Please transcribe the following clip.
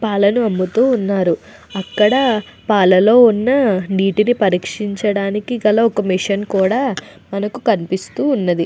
పాలను అమ్ముతూ ఉన్నారు. అక్కడ పాలలో ఉన్న నీటిని పరీక్షించడానికి గల ఒక మిషన్ కూడా మనకు కనిపిస్తూ ఉన్నది.